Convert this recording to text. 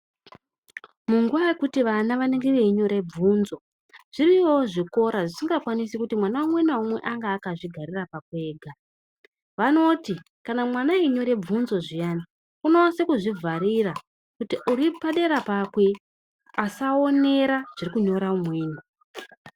Munguwa yekuti vana anenge einyora bvunzo zviriyo zvikora zvisingakwanisi kuti mwana umwe naumwe ange akazvigarira pakwe ega. Vanoti kana vana veinyora bvunzo zviyana unonyasa kuzvivharira uri padera pakwe asaonera zviri kunyora umweni.